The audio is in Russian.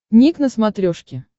ник на смотрешке